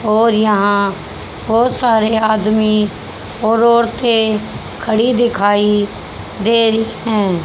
और यहां बहोत सारे आदमी और औरतें खड़ी दिखाई दे रही हैं।